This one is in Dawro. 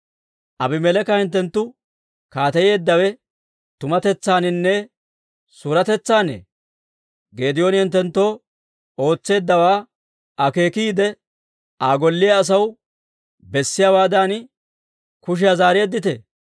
«Abimeleeka hinttenttu kaateyeeddawe tumatetsaaninne suuretetsaanne? Geedooni hinttenttoo ootseeddawaa akeekiide, Aa golle asaw bessiyaawaadan kushiyaa zaareedditee?